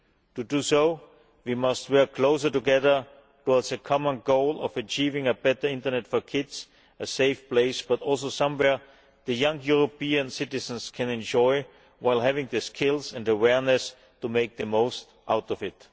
To do so, we must work closer together towards the common goal of achieving a better internet for children a safe place, but also somewhere that young European citizens can enjoy while having the skills and awareness to make the most out of it.